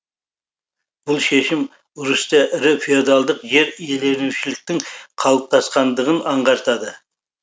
бұл шешім русьте ірі феодалдық жер иеленушіліктің қалыптасқандығын аңғартты